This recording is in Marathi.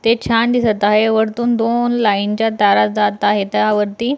ते छान दिसत आहे वरतून दोन लाइन च्या तारा जात आहेत त्यावरती--